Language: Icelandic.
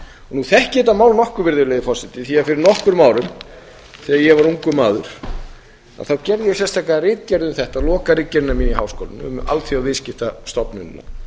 nú þekki ég þetta mál nokkuð því að fyrir nokkrum árum þegar ég var ungur maður þá gerði ég sérstaka ritgerð um þetta lokaritgerðina mína í háskólanum um alþjóðaviðskiptastofnunina